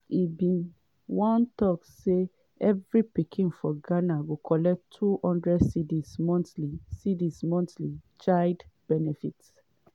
e bin once tok say "evri pikin for ghana go collect 200 cedis monthly cedis monthly child benefits".